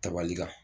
Tabali la